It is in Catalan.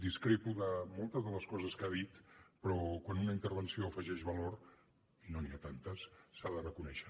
discrepo de moltes de les coses que ha dit però quan una intervenció afegeix valor i no n’hi ha tantes s’ha de reconèixer